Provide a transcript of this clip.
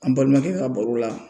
An balimakɛ ka baro la